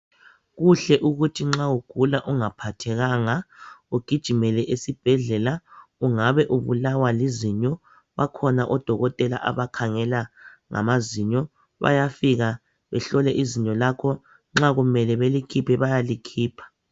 Kuhle ukuthi nxa ugula ungaphathekanga, ugijimele esibhedlela. Ungabe ubulawa lizinyo, bakhona odokotela abakhangela ngamazinyo, bayafika behlole izinyo lakho, nxa kumele balikhiphe bayalikhipha.